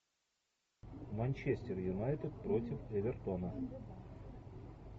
манчестер юнайтед против эвертона